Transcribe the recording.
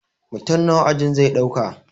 Mutum nawa ajin zai ɗauka